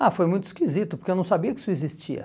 Ah, foi muito esquisito, porque eu não sabia que isso existia.